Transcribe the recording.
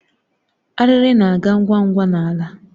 Ariri na-aga ngwa ngwa n'ala.